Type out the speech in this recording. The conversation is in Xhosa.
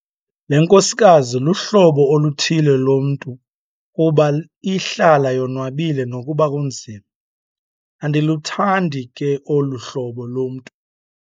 Le nkosikazi luhlobo oluthile lomntu kuba ihlala yonwabile nokuba kunzima. andiluthandi ke olu hlobo lomntu